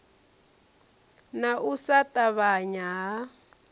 na u sa ṱavhanya ha